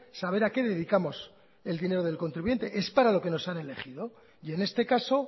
saber a qué dedicamos el dinero del contribuyente es para lo que nos han elegido y en este caso